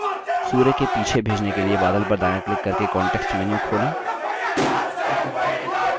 सूर्य के पीछे भेजने के लिए बादल पर दायाँ click करके context menu खोलें